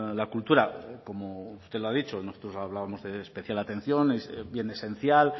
la cultura como usted lo ha dicho nosotros hablábamos de especial atención bien esencial